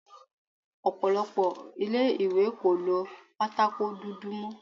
Ọ̀pọ̀lọpọ̀ ilé-ìwé kò lo pátákó dúdú mó.